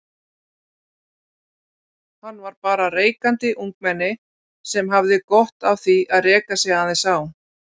Hann var bara reikandi ungmenni sem hafði gott af því að reka sig aðeins á.